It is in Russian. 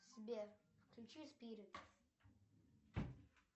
сбер включи спирит